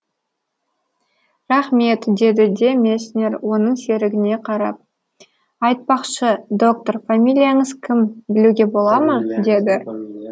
рахмет деді де месснер оның серігіне қарап айтпақшы доктор фамилияңыз кім білуге бола ма деді